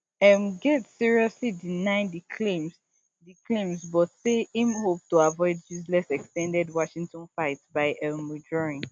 um gaetz seriously deny di claims di claims but say im hope to avoid useless ex ten ded washington fight by um withdrawing